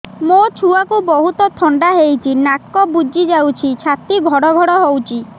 ମୋ ଛୁଆକୁ ବହୁତ ଥଣ୍ଡା ହେଇଚି ନାକ ବୁଜି ଯାଉଛି ଛାତି ଘଡ ଘଡ ହଉଚି